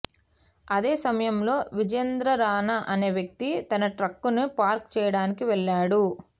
అదే సమయంలో విజేందర్ రానా అనే వ్యక్తి తన ట్రక్కును పార్క్ చేయడానికి వెళ్లాడు